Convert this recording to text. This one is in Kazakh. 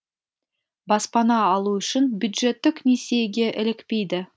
баспана алу үшін бюджеттік несиеге ілікпейді